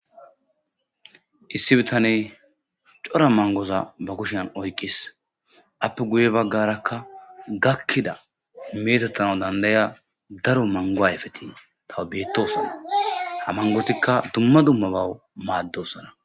Issi bitaney cora mangoza ba kushen oykis.aappe guye baggarakka gakkida aappe meetettiya daro mango ayefeti tawbeettoosona. Ha manggotikka dumma dummabaw maaddoodona.